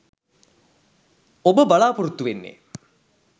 ඔබ බලා‍පොරොත්තු වෙන්නේ